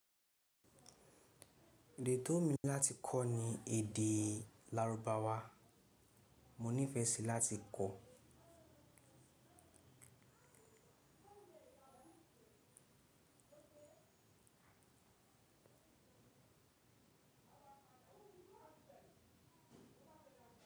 Èdè tó wù mí láti kọ́ ni èdè lárúbáwá. Mo nífẹ̀ẹ́ síi láti kọ́.